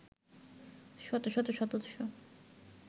শত শত সদস্য